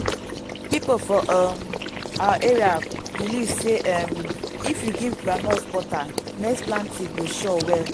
people for um our area believe say um if you give groundnut butter next planting go sure well.